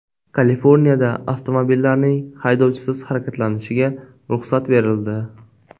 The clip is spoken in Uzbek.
Kaliforniyada avtomobillarning haydovchisiz harakatlanishiga ruxsat berildi.